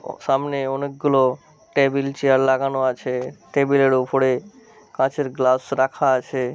সামনে অনেক গুলো টেবিল চেয়ার লাগানো আছে। টেবিল এর উপরে কাচের গ্লাস রাখা আছে।